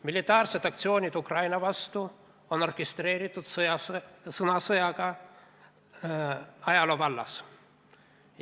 Militaarsed aktsioonid Ukraina vastu on orkestreeritud sõnasõjaga ajaloo vallas.